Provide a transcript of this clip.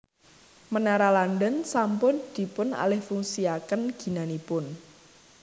Menara London sampun dipunalihfungsiaken ginanipun